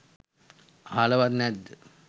අහලවත් නැද්ද